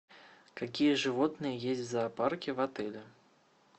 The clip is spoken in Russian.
какие животные есть в зоопарке в отеле